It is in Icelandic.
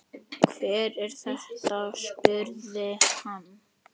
Hver er þetta, spurði hann.